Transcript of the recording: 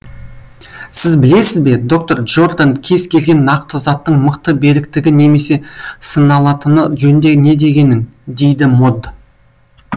сіз білесіз бе доктор джордан кез келген нақты заттың мықты беріктігі немен сыналатыны жөнінде не дегенін дейді мод